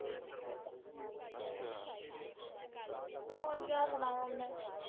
ਹੋਰ ਕਿਆ ਸੁਣਾਵਾਂ ਮੈਂ?